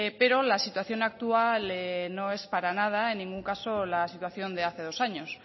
pero la situación actual no es para nada en ningún caso la situación de hace dos años